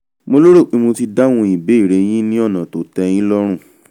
mo lérò pé mo ti dáhùn ìbéèrè yín lọ́nà tó tẹ́ yín lọ́rùn